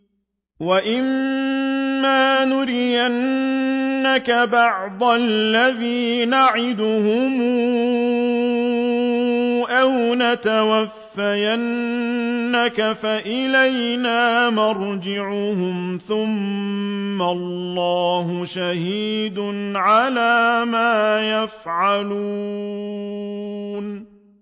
وَإِمَّا نُرِيَنَّكَ بَعْضَ الَّذِي نَعِدُهُمْ أَوْ نَتَوَفَّيَنَّكَ فَإِلَيْنَا مَرْجِعُهُمْ ثُمَّ اللَّهُ شَهِيدٌ عَلَىٰ مَا يَفْعَلُونَ